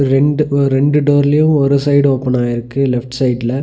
ரெண்டு ஒ ரெண்டு டோர்லயு ஒரு சைடு ஓபன் ஆயிருக்கு லெஃப்ட் சைட்ல .